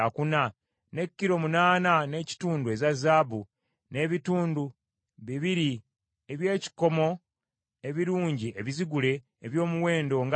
ne kilo munaana n’ekitundu eza zaabu, n’ebitundu bibiri eby’ekikomo ebirungi ebizigule, eby’omuwendo nga zaabu.